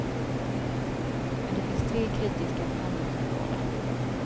Men det finns tre kritiska förhandlingsområden.